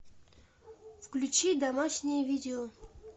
включи домашнее видео